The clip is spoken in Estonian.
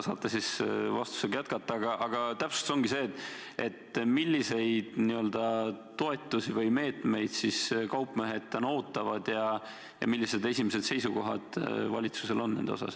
Täpsustada palungi seda, milliseid toetusi või meetmeid siis kaupmehed täna ootavad ja millised esimesed seisukohad valitsusel on nende osas.